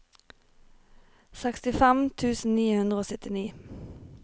sekstifem tusen ni hundre og syttini